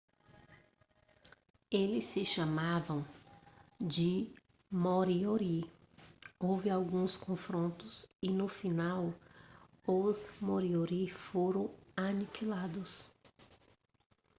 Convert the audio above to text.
eles se chamavam de moriori houve alguns confrontos e no final os moriori foram aniquilados